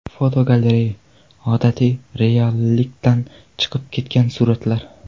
Fotogalereya: Odatiy reallikdan chiqib ketgan suratlar.